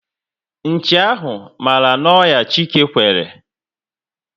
Nchi ahụ mara na onya Chike kwere